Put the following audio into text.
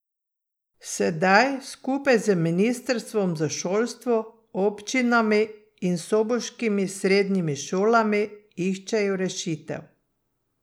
Sedaj skupaj z ministrstvom za šolstvo, občinami in soboškimi srednjimi šolami iščejo rešitev.